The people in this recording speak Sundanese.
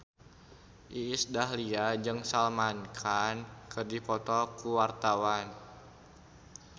Iis Dahlia jeung Salman Khan keur dipoto ku wartawan